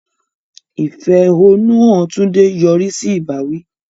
Ìfẹ̀hónúhàn Tunde yọrí sí ìbáwí.